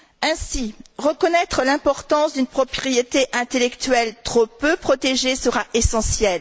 Ainsi, reconnaître l'importance d'une propriété intellectuelle trop peu protégée sera essentiel.